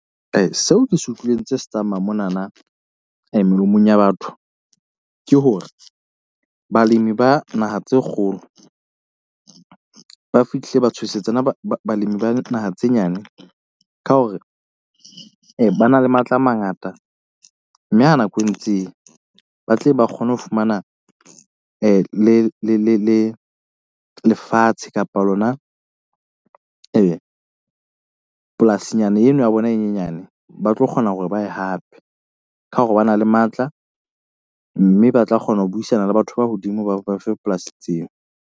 Seo ke se utlwileng tse se tsamaya mona na melomong ya batho, ke hore balemi ba naha tse kgolo ba fihlile ba tshosetsa balemi ba naha tse nyane, ka hore ba na le matla a mangata. Mme ha nako e ntseng ya ba tle ba kgone ho fumana le le le le le lefatshe kapa lona polasi nyana eno ya bona e nyenyane. Ba tlo kgona hore ba ye hape ka hore ba na le matla mme ba tla kgona ho buisana le batho ba hodimo ba ba fe polasi tseo.